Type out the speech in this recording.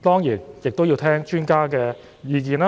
當然，政府亦要聆聽專家的意見，